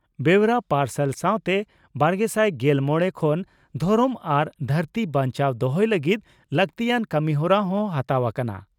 ᱵᱮᱣᱨᱟ ᱯᱟᱨᱥᱟᱞ ᱥᱟᱣᱛᱮ ᱵᱟᱨᱜᱮᱥᱟᱭ ᱜᱮᱞ ᱢᱚᱲᱮ ᱠᱷᱚᱱ ᱫᱷᱚᱨᱚᱢ ᱟᱨ ᱫᱷᱟᱹᱨᱛᱤ ᱵᱟᱧᱪᱟᱣ ᱫᱚᱦᱚᱭ ᱞᱟᱹᱜᱤᱫ ᱞᱟᱹᱜᱛᱤᱭᱟᱱ ᱠᱟᱹᱢᱤᱦᱚᱨᱟ ᱦᱚᱸ ᱦᱟᱛᱟᱣ ᱟᱠᱟᱱᱟ ᱾